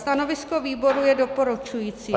Stanovisko výboru je doporučující.